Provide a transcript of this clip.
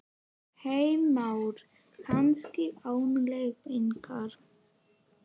Heimir Már: Kannski án leiðbeiningar?